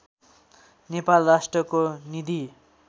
नेपाल राष्ट्रको निधि